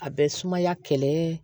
A bɛ sumaya kɛlɛ